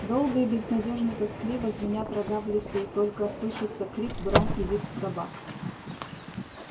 долго и безнадёжно тоскливо звенят рога в лесу долго слышатся крик брань и визг собак